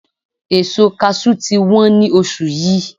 Èso Kaṣú ti ń wọn ní oṣù yìí.